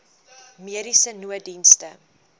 mediese nooddienste